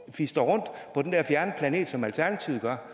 fistre rundt på den der fjerne planet som alternativet gør